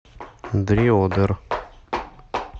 дреодер